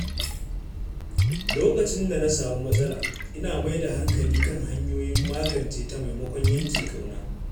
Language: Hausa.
Lokacin da na samu matsala, ina mai da hankali kan hanyoyin magance ta maimakon yanke ƙauna.